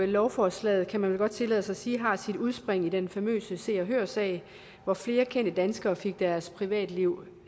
lovforslaget kan man vel godt tillade sig at sige har sit udspring i den famøse se og hør sag hvor flere kendte danskere fik deres privatliv